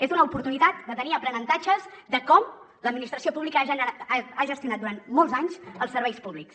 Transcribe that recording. és una oportunitat de tenir aprenentatges de com l’administració pública ha gestionat durant molts anys els serveis públics